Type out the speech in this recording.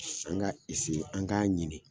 An k'a an k'a ɲini.